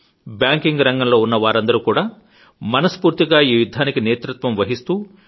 banking రంగంలో ఉన్న వారందరూ కూడా మనస్ఫూర్తిగా ఈ యుద్ధానికి నేతృత్వం వహిస్తూ